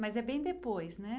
Mas é bem depois, né?